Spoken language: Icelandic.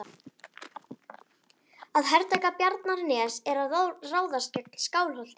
Að hertaka Bjarnanes er að ráðast gegn Skálholti.